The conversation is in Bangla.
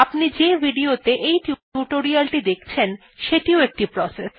আপনি যে video ত়ে এই টিউটোরিয়ালটি দেখছেন সেটিও একটি প্রসেস